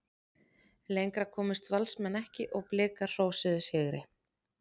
Lengra komust Valsmenn ekki og Blikar hrósuðu sigri.